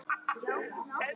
Þín Íris Dögg.